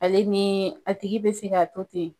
Ale ni a tigi bɛ se ka to ten.